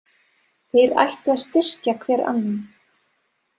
Þeir ættu að styrkja hver annan.